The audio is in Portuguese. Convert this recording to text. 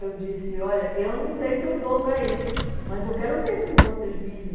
Eu disse, olha, eu não sei se eu dou para isso, mas eu quero ver como vocês vivem.